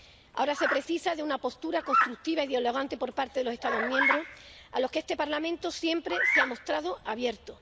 Ahora se precisa de una postura constructiva y dialogante por parte de los Estados miembros, a lo que este Parlamento siempre se ha mostrado abierto.